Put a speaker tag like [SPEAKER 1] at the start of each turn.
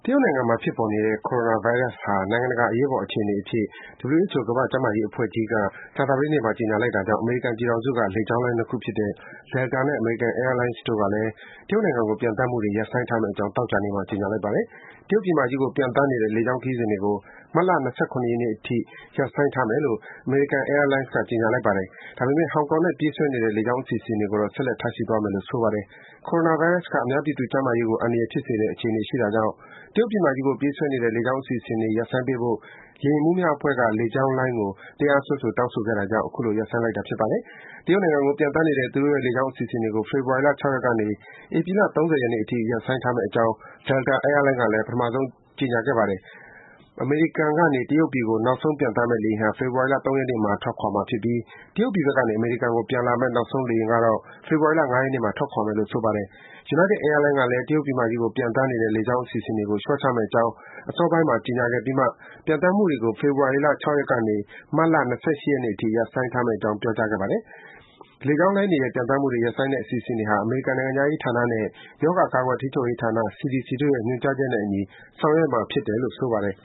[SPEAKER 1] ရုတ်နိုင်ငံမှာ ဖြစ်ပေါ်နေတဲ့ Coronavirus ဟာ နိုင်ငံတကာ အရေးပေါ်အခြေအနေအဖြစ် WHO ကမ္ဘာ့ကျန်းမာရေးအဖွဲ့ကြီးက ကြာသပတေးနေ့မှာ ကြေညာလိုက်တာကြောင့် အမေရိကန်ပြည်ထောင်စုက လေကြောင်းလိုင်း ၂ ခုဖြစ်တဲ့ Delta နဲ့ American Airlines တို့ကလည်း တရုတ်နိုင်ငံကို ပျံသန်းမှုတွေ ရပ်ဆိုင်းထားမယ့်အကြောင်း သောကြာနေ့မှာ ကြေညာလိုက်ပါတယ်။ တရုတ်ပြည်မကြီးကို ပျံသန်းနေတဲ့ လေကြောင်းခရီးစဉ်တွေကို မတ်လ ၂၇ ရက်နေ့အထိ ရပ်ဆိုင်းထားမယ်လို့ American Airlines က ကြေညာလိုက်ပါတယ်။ ဒါပေမယ့် ဟောင်ကောင်နဲ့ပြေးဆွဲနေတဲ့ လေကြောင်းအစီအစဉ်တွေကိုတော့ ဆက်လက် ထားရှိသွားမယ်လို့ ဆိုပါတယ်။ Coronavirus က အများပြည်သူ ကျန်းမာရေးကို အန္တရာယ်ဖြစ်စေတဲ့ အခြေအနေရှိတာကြောင့် တရုတ်ပြည်မကြီးကို ပြေးဆွဲနေတဲ့ လေကြောင်းအစီအစဉ်တွေ ရပ်ဆိုင်းပေးဖို့ လေယာဉ်မှူးများအဖွဲ့က လေကြောင်းလိုင်းကို တရားစွဲ တောင်းဆိုခဲ့တာကြောင့် အခုလို ရပ်ဆိုင်းလိုက်တာ ဖြစ်ပါတယ်။ တရုတ်နိုင်ငံကို ပျံသန်းနေတဲ့ သူတို့ရဲ့ လေကြောင်းအစီအစဉ်တွေကို ဖေဖော်ဝါရီလ ၆ ရက်ကနေ ဧပြီလ ၃၀ ရက်နေ့အထိ ရပ်ဆိုင်းထားမယ့်အကြောင်း Delta လေကြောင်းလိုင်းက ပထမဆုံး ကြေညာခဲ့တာပါ။ အမေရိကန်ကနေ တရုတ်ပြည်ကို နောက်ဆုံး ပျံသန်းမယ့် လေယာဉ်ဟာ ဖေဖော်ဝါရီလ ၃ ရက်နေ့မှာ ထွက်ခွာမှာဖြစ်ပြီး တရုတ်ဘက်ကနေ အမေရိကန်ကို ပြန်လာမယ့် နောက်ဆုံး လေယာဉ်ဟာ ဖေဖော်ဝါရီလ ၅ ရက်နေ့မှာ ထွက်ခွာမယ်လို့ ဆိုပါတယ်။ United Airlines ကလည်း တရုတ်ပြည်မကြီးကို ပျံသန်းနေတဲ့ လေကြောင်းအစီအစဉ်တွေကို လျော့ချမယ့်အကြောင်း အစောပိုင်းမှာ ကြေညာခဲ့ပြီးမှ ပျံသန်းမှုတွေကို ဖေဖော်ဝါရီလ ၆ ရက်နေ မတ်လ ၂၈ ရက်နေ့အထိ ရပ်ဆိုင်းထားမယ့်အကြောင်း ပြန်ပြောင်း ကြေညာခဲ့ပါတယ်။ လေကြောင်းလိုင်းတွေရဲ့ ပျံသန်းမှု ရပ်ဆိုင်းတဲ့အစီအစဉ်တွေဟာ အမေရိကန်နိုင်ငံခြားရေးဌာနနဲ့ ရောဂါကာကွယ် ထိန်းချုပ်ရေးဌာန CDC တို့ရဲ့ ညွန်ကြားချက်နဲ့အညီ ဆောင်ရွက်မှာဖြစ်တယ်လို့ ဆိုပါတယ်